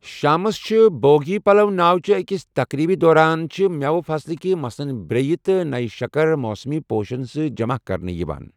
شامس چھِ، بھوگی پَلو ناو چہِ أکِس تقریٖبہِ دوران چھِ مٮ۪وٕ فصلٕكہِ مثلاً برٛییہَ تہٕ نیہ شَکر ، موسمی پوشن سۭتۍ جمع کرنہٕ یِوان ۔